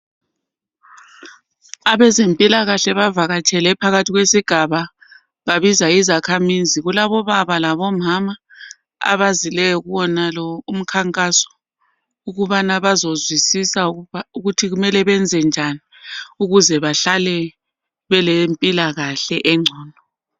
Abezempilakahle bavakatshele phakathi kwesigaba babiza izakhamizi kulabo baba labomama abazileyo kuwonalo umkhankaso ukubana bazozwisisa ukuthi kumele benze njani ukuze bahlale belempilakahle engcono.